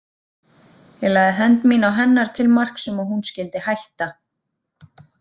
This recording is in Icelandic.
Ég lagði hönd mína á hennar til marks um að hún skyldi hætta.